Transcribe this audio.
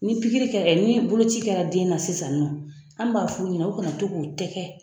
Ni pikiri kɛra ni boloci kɛra den na sisan nɔ an b'a f'u ɲɛnɛ o kana to k'o tɛkɛ